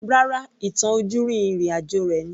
Rárá, ìtàn ojúrí ìrìn àjò rẹ̀ ni